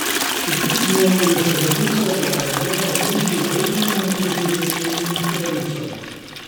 V pismu je še zapisal, da mu je vlada uničila upanje na preživetje in pravico.